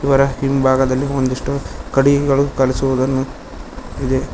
ಅದರ ಹಿಂಭಾಗದಲ್ಲಿ ಒಂದಿಷ್ಟು ಕಟ್ಟಿಗೆಗಳು ಕಲಿಸುವುದನ್ನು ಇದೆ.